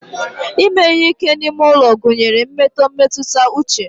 ime ihe ike n'ime ulo gunyere mmeto mmetuta uche